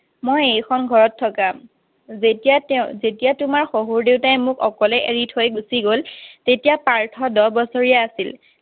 মই এই খন ঘৰত থকা যেতিয়া তেওঁ যেতিয়া তেওঁ তেতিয়া তোমাৰ শহুৰ দেউতাই মোক অকলে এৰি থৈ গুচি গল তেতিয়া পাৰ্থ দহ বছৰীয়া আছিল